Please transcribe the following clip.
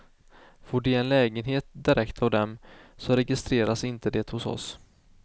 Får de en lägenhet direkt av dem, så registreras inte det hos oss.